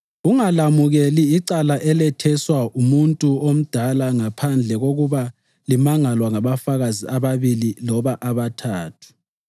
Ungalamukeli icala eletheswa umuntu omdala ngaphandle kokuba limangalwa ngabafakazi ababili loba abathathu.